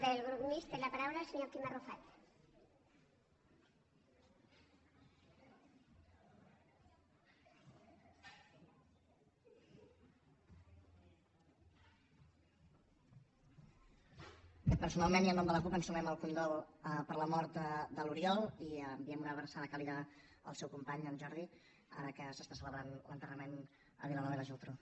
personalment i en nom de la cup ens sumem al condol per la mort de l’oriol i enviem una abraçada càlida al seu company en jordi ara que s’està celebrant l’enterrament a vilanova i la geltrú